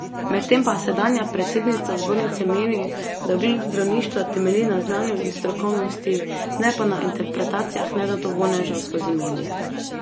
Medtem pa sedanja predsednica zbornice meni, da ugled zdravništva temelji na znanju in strokovnosti, ne pa na interpretacijah nezadovoljnežev skozi medije.